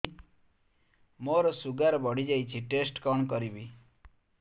ମୋର ଶୁଗାର ବଢିଯାଇଛି ଟେଷ୍ଟ କଣ କରିବି